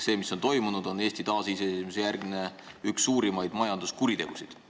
See, mis on toimunud, on Eesti taasiseseisvumise järgse aja üks suurimaid majanduskuritegusid.